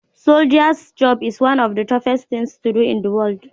soldier’s job is one of the toughest things to do in the world